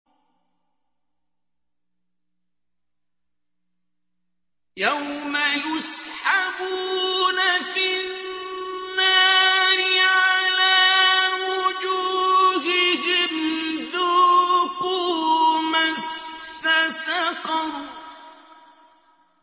يَوْمَ يُسْحَبُونَ فِي النَّارِ عَلَىٰ وُجُوهِهِمْ ذُوقُوا مَسَّ سَقَرَ